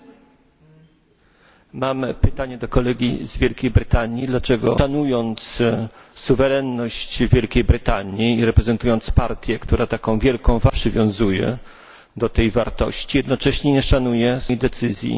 Mam pytanie do kolegi z Wielkiej Brytanii dlaczego szanując suwerenność Wielkiej Brytanii i reprezentując partię, która taką wielką wagę przywiązuje do tej wartości, jednocześnie nie szanuje suwerennej decyzji Ukrainy?